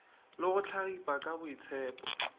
le go hlagipa ka boitshepo